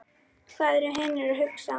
Hvað eru hinir að hugsa?